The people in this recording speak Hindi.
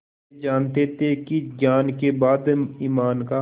वे जानते थे कि ज्ञान के बाद ईमान का